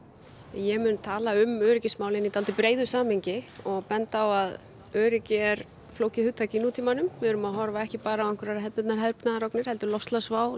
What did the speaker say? ég mun tala um öryggismálin í dálítið breiðu samhengi og benda á að öryggi er flókið hugtak í nútímanum við erum að horfa á ekki bara einhverjar hefðbundnar hernaðarógnir heldur loftslagsvá